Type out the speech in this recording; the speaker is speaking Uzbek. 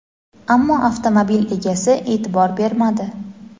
ammo avtomobil egasi e’tibor bermadi.